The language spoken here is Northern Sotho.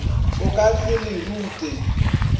o ka se le rute